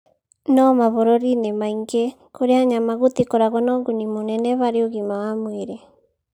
No mabũrũri-inĩ maingĩ kũrĩa nyama gũtikoragwo na ũguni mũnene harĩ ũgima wa mwĩrĩ.